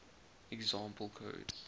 example code